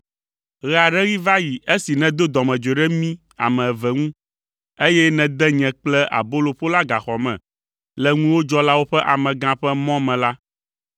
Ɣe aɖe ɣi va yi esi nèdo dɔmedzoe ɖe mí ame eve ŋu, eye nède nye kple aboloƒola gaxɔ me le ŋuwòdzɔlawo ƒe amegã ƒe mɔ me la,